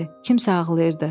Kimsə ağlayırdı.